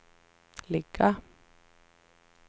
ligga